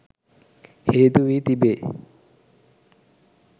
හේතු වී තිබේ